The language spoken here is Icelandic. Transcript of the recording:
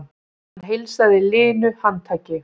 Hann heilsaði linu handtaki.